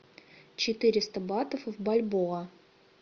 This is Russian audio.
четыреста батов в бальбоа